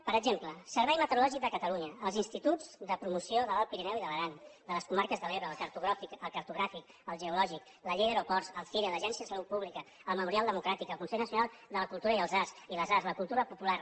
per exemple servei meteorològic de catalunya els instituts de promoció de l’alt pirineu i de l’aran de les comarques de l’ebre el cartogràfic el geològic la llei d’aeroports el cire l’agència de salut pública el memorial democràtic el consell nacional de la cultura i de les arts la cultura popular